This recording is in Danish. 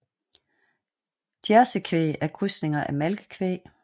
Jersey kvæg er krydsninger af malkekvæg